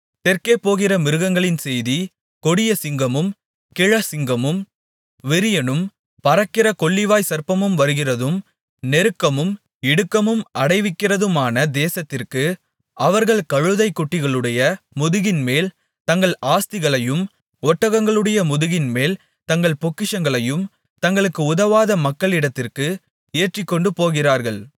தெற்கே போகிற மிருகங்களின் செய்தி கொடிய சிங்கமும் கிழச்சிங்கமும் விரியனும் பறக்கிற கொள்ளிவாய்ச்சர்ப்பமும் வருகிறதும் நெருக்கமும் இடுக்கமும் அடைவிக்கிறதுமான தேசத்திற்கு அவர்கள் கழுதை குட்டிகளுடைய முதுகின்மேல் தங்கள் ஆஸ்திகளையும் ஒட்டகங்களுடைய முதுகின்மேல் தங்கள் பொக்கிஷங்களையும் தங்களுக்கு உதவாத மக்களிடத்திற்கு ஏற்றிக்கொண்டுபோகிறார்கள்